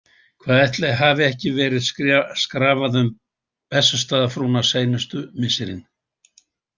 Hvað ætli hafi ekki verið skrafað um Bessastaðafrúna seinustu misserin?